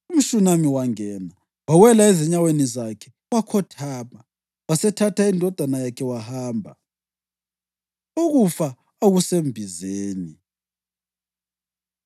UmShunami wangena, wawela ezinyaweni zakhe wakhothama. Wasethatha indodana yakhe wahamba. Ukufa Okusembizeni